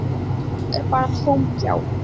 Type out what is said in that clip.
Nú er bara tóm gjá.